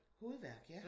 Hovedværk ja